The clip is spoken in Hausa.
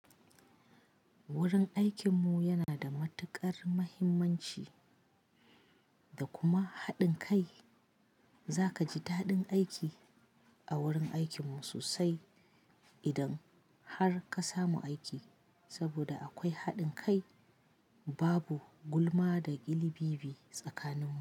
Wurin aikinmu yana da matuƙar muhimmanci da kuma haɗin kai. Za ka ji daɗin aiki a wurin aikinmu sosai idan har ka samu aiki, saboda akwai haɗin kai, babu gulma da ƙilibibi tsakaninmu.